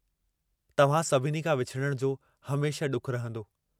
तव्हां सभिनी खां विछुड़ण जो हमेशह डुखु रहंदो।